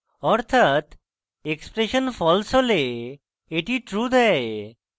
অর্থাৎ expression false হলে এটি true দেয়